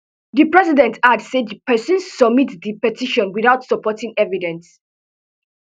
di president add say di pesin submit di petition without supporting evidence